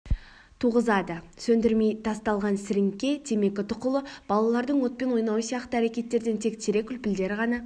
туғызады сөндірмей тасталған сіріңке темекі тұқылы балалардың отпен ойнауы сияқты әрекеттерден тек терек үлпілдері ғана